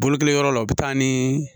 Bolokiyɔrɔ la u bɛ taa ni